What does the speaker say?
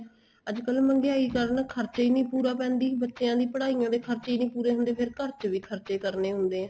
ਅੱਜਕਲ ਮਹਿੰਗਾਈ ਕਾਰਨ ਖਰਚੇ ਹੀ ਨਹੀਂ ਪੂਰਾ ਪੈਂਦੀ ਬੱਚਿਆ ਦੀ ਪੜਾਈਆਂ ਦੇ ਖਰਚੇ ਹੀ ਨਹੀਂ ਪੂਰੇ ਹੁੰਦੇ ਫ਼ੇਰ ਚ ਵੀ ਖਰਚੇ ਕਰਨੇ ਹੁੰਦੇ ਏ